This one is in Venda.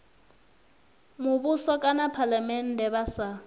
muvhuso kana phalamennde vha sa